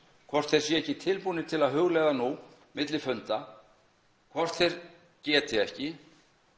hvort þeir séu ekki tilbúnir nú milli funda hvort þeir geti ekki